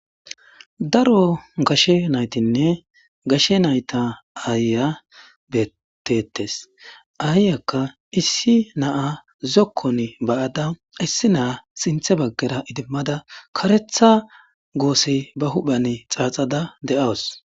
Daro gashe naytinne gashe nayta aaya beettettees. Aayyakka issi naa zokkon ba7ada issi naa sinthe baggera idimmada karetha goosi ba huphan xaaxada de7awus.